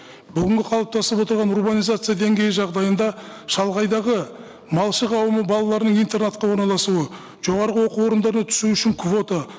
бүгінгі қалыптасып отырған урбанизация деңгейі жағдайында шалғайдағы малшы қауымы балаларын интернатқа орналасуы жоғарғы оқу орындарына түсу үшін квота